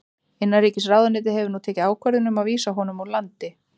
Innanríkisráðuneytið hefur nú tekið ákvörðun um að vísa honum úr landi.